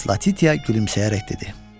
Miss Latitia gülümsəyərək dedi.